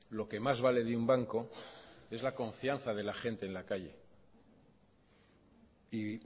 lo que más vale de un banco es la confianza de la gente en la calle y